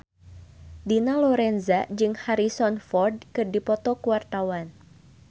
Dina Lorenza jeung Harrison Ford keur dipoto ku wartawan